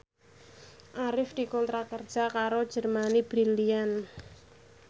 Arif dikontrak kerja karo Germany Brilliant